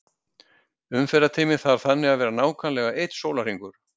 Umferðartíminn þarf þannig að vera nákvæmlega einn sólarhringur.